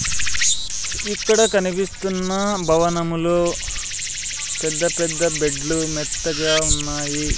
ఇక్కడ కనిపిస్తున్న భవనములో పెద్ద పెద్ద బెడ్లు మెత్తగా ఉన్నాయి.